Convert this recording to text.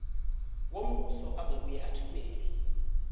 wombuso ozobuye athumele